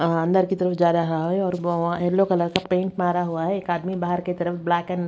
अ अंदर की तरफ जा रहा है और ओ येलो कलर का पेंट मारा हुआ है एक आदमी बाहर की तरफ ब्लैक एंड --